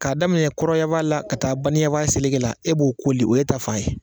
K'a daminɛ kɔrɔnyafa la ka taa baniyanfa selege la e b'o koli o ye ta fan ye